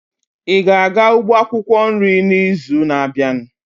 Ị ga-aga ugbo akwukwo nri n'izu na-abịa?